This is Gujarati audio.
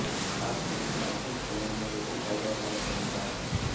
ખાસ કરીને અફેદ ચણાને વધુ ફાયદાકારક ગણાતા હતાં